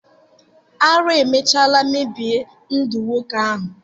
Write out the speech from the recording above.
Ara emecha mebie ndu nwoke ahu.